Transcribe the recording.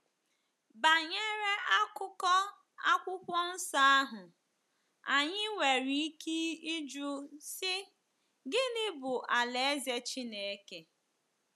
Banyere akụkụ Akwụkwọ Nsọ ahụ, anyị nwere ike ịjụ sị, 'Gịnị bụ Alaeze Chineke?'